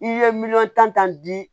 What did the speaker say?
I ye miliyɔn tan di